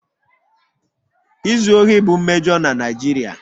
Izu ohi bụ mmejọ na Naijiria